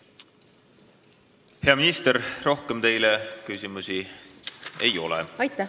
Hea minister, rohkem teile küsimusi ei ole.